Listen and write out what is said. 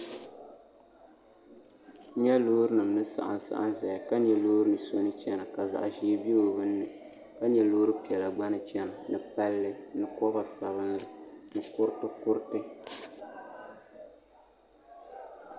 N nyɛ loori nim ni saɣam saɣam ʒɛya ka nyɛ loori so ni chɛna ka zaɣ ʒiɛ bɛ o binni ka nyɛ loori piɛla gba ni chɛna ni palli ni koba sabinli ni kuriti